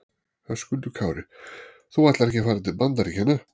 Höskuldur Kári: Þú ætlar ekki að fara til Bandaríkjanna?